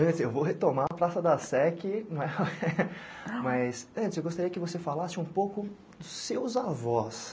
Antes, eu vou retomar a Praça da Sé que, mas antes eu gostaria que você falasse um pouco dos seus avós.